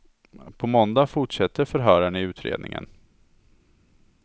På måndag fortsätter förhören i utredningen.